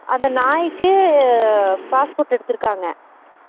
அந்த நாய்க்கு passport எடுத்துருக்காங்க